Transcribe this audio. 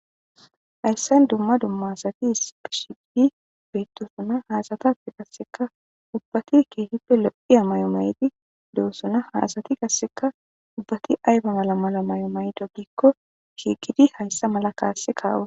Hayssan dumma dumma asati issipe shiiqidi beettoosona. Ha asatape qassika ubbati keehippe lo7iya mayo mayidi doosona. Ha asati qassekka ayba mala mayo mayido giikko shiiqidi hayssa mala kaasse ka7o.